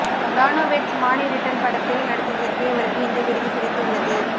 தானு weds Manu return படத்தில் நடித்ததற்காக இவருக்கு இந்த விருது கிடைத்து உள்ளது